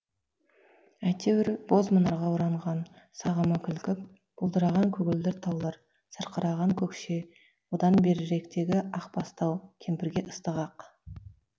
әйтеуір боз мұнарға оранған сағымы кілкіп бұлдыраған көгілдір таулар сарқыраған көкше одан беріректегі ақ бастау кемпірге ыстық ақ